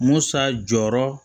Musa jɔyɔrɔ